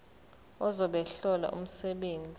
ozobe ehlola umsebenzi